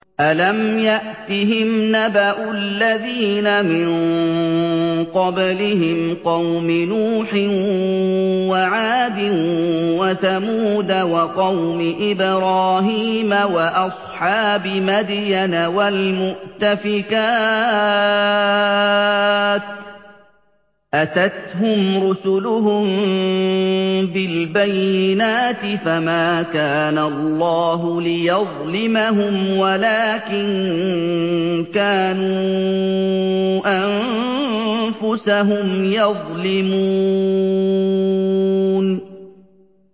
أَلَمْ يَأْتِهِمْ نَبَأُ الَّذِينَ مِن قَبْلِهِمْ قَوْمِ نُوحٍ وَعَادٍ وَثَمُودَ وَقَوْمِ إِبْرَاهِيمَ وَأَصْحَابِ مَدْيَنَ وَالْمُؤْتَفِكَاتِ ۚ أَتَتْهُمْ رُسُلُهُم بِالْبَيِّنَاتِ ۖ فَمَا كَانَ اللَّهُ لِيَظْلِمَهُمْ وَلَٰكِن كَانُوا أَنفُسَهُمْ يَظْلِمُونَ